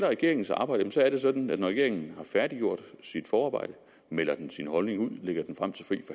regeringens arbejde er det sådan at når regeringen har færdiggjort sit forarbejde melder den sin holdning ud og lægger